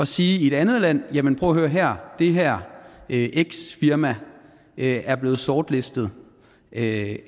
sige i et andet land prøv at høre her det her x firma er blevet sortlistet af